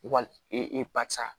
Wali e papisa